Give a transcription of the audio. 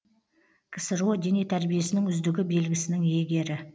ксро дене тәрбиесінің үздігі белгісінің иегері